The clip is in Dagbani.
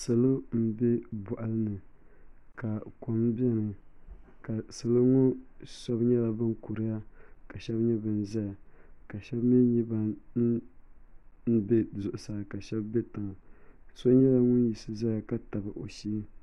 Salo n bɛ boɣali ni ka kom biɛni salo ŋo shab nyɛla bin kuriya ka shab nyɛ bin ʒɛya ka shab mii nyɛ bin bɛ zuɣusaa ka shab bɛ tiŋa so yɛla miis ʒɛya ka tabi o shee